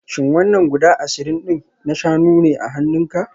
Shin wannan guda ashirin din na shanu ne a hannunku?